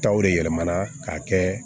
Taw de yɛlɛmana k'a kɛ